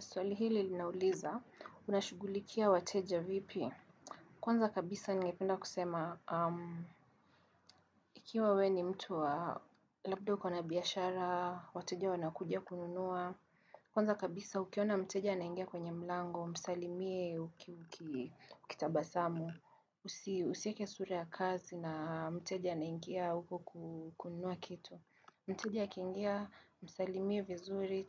Swali hili linauliza, unashugulikia wateja vipi. Kwanza kabisa ngependa kusema, ikiwa we ni mtu wa labda ukona biashara, wateja wanakujia kununua. Kwanza kabisa ukiona mteja anaingia kwenye mlango, msalimie ukikitabasamu. Usieke sura ya kazi na mteja naingia uko kununua kitu. Mteja akiingia msalimie vizuri,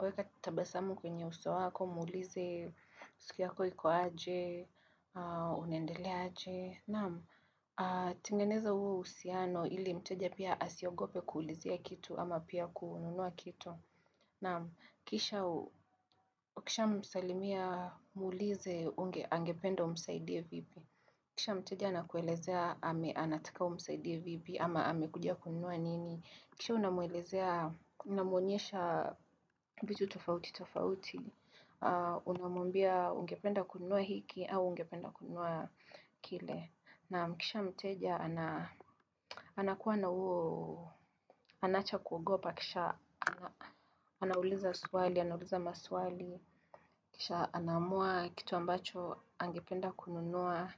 weka tabasamu kwenye uso wako, muulize, siku yako ikoaeje unendelea aje. Naam, tengeneza huo usiano ili mteja pia asiogope kuulizea kitu ama pia kununua kitu. Naam, ukishamsalimi ya muulize angependa umsaidie vipi. Kisha mteja anakuelezea ame anataka umsaidie vipi ama amekudia kununua nini. Kisha unamwelezea, unamuonyesha vitu tofauti tofauti, unamumbia ungependa kununua hiki au ungependa kununua kile. Naam kisha mteja, anakuwa na uo, anaacha kuogopa kisha, anauliza swali, anauliza maswali, kisha anamua kitu ambacho, angependa kununua.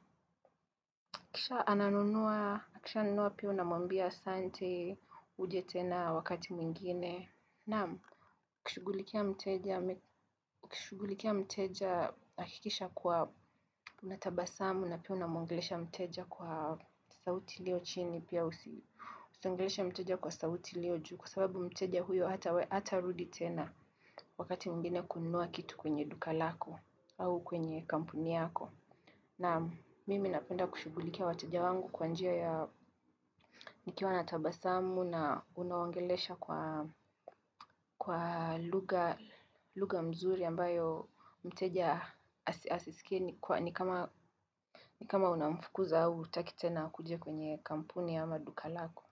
Kisha ananunua, kisha anunua pia na mwambia sante uje tena wakati mwingine. Naam, kushugulikia mteja, kishugulikia mteja akikisha kuwa unatabasamu na pia unamwongelesha mteja kwa sauti ilio chini pia usi. Usangelesha mteja kwa sauti lio juu kwa sababu mteja huyo hata we hata rudi tena wakati mwingine kunua kitu kwenye duka lako au kwenye kampuni yako. Naam mimi napenda kushughulikia wateja wangu kwa njia ya nikiwa na tabasamu na unawaongelesha kwa lugha mzuri ambayo mteja asisikini kwa nikama unamfukuza au hutaki tena kujia kwenye kampuni ya maduka lako.